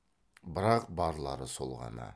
бірақ барлары сол ғана